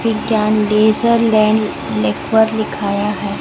विज्ञान लेजर लैन लेक्वर लिखाया है।